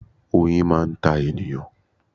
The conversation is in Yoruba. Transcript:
Oyin máa ń ta ènìyàn.